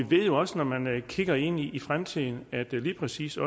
ved jo også når man kigger ind i fremtiden at lige præcis